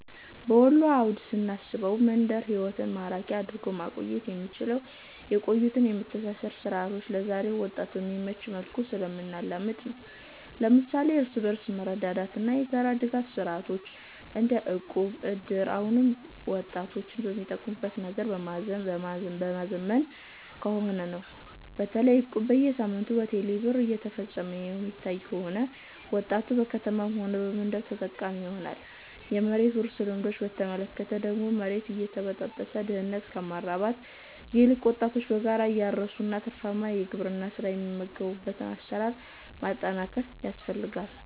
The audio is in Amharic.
በወሎ አውድ ስናስበው፣ መንደር ህይወትን ማራኪ አድርጎ ማቆየት የምንችለው የቆዩትን የመተሳሰር ሥርዓቶች ለዛሬው ወጣት በሚመች መልኩ ስናላምድ ነው። ለምሳሌ እርስ በርስ መረዳዳትና የጋራ ድጋፍ ሥርዓቶች - እንደ እቁብ፣ እድር - አሁንም ወጣቶችን በሚጠቀሙት ነገር በማዘመን ከሆነ ነው። በተለይ እቁብ በየሳምንቱ በቴሌ ብር እየተፈፀመ የሚታይ ከሆነ፣ ወጣቱ በከተማም ሆነ በመንደር ተጠቃሚ ይሆናል። የመሬት ውርስ ልማዶችን በተመለከተ ደግሞ፣ መሬት እየተበጣጠሰ ድህነትን ከማራባት ይልቅ ወጣቶች በጋራ እያረሱ ወደ ትርፋማ የግብርና ሥራ የሚገቡበትን አሰራር ማጠናከር ያስፈልጋል